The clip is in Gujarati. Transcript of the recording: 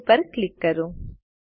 સવે પર ક્લિક કરો